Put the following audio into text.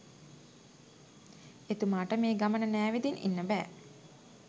එතුමාට මේ ගමන නෑවිදින් ඉන්න බෑ